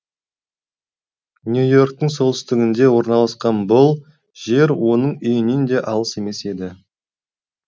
нью и орктың солтүстігінде орналасқан бұл жер оның үйінен де алыс емес еді